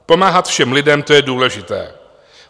Pomáhat všem lidem, to je důležité.